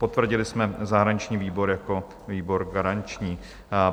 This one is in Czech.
Potvrdili jsme zahraniční výbor jako výbor garanční.